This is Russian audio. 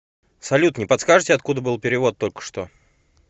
салют не подскажите откуда был перевод толькошто